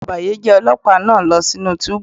Mú ọ̀bàyéjẹ́ Ọlọ́pàá náà lọ sí inú túbú.